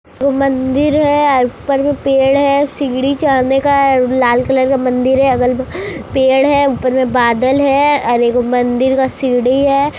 ऊ मन्दिर है ऊपर में पेड़ है सीढ़ी चढने का हैलाल कलर का मन्दिर है अगल-बगल पेड़ है ऊपर में बादल हैं और एगो मन्दिर का सीढ़ी है ।